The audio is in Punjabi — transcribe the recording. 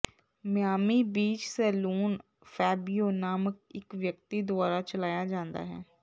ਮਿਆਮੀ ਬੀਚ ਸੈਲੂਨ ਫੈਬਿਓ ਨਾਮਕ ਇੱਕ ਵਿਅਕਤੀ ਦੁਆਰਾ ਚਲਾਇਆ ਜਾਂਦਾ ਹੈ